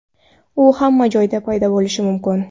U hamma joyda paydo bo‘lishi mumkin.